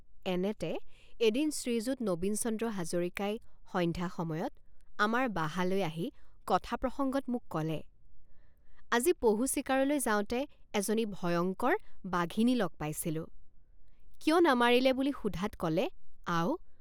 এনেতে এদিন শ্ৰীযুত নবীনচন্দ্ৰ হাজৰিকাই সন্ধ্যা সময়ত আমাৰ বাহালৈ আহি কথাপ্ৰসঙ্গত মোক কলে আজি পহু চিকাৰলৈ যাওঁতে এজনী ভয়ঙ্কৰ বাঘিনী লগ পাইছিলোঁ৷ কিয় নামাৰিলে বুলি সোধাত কলে আও!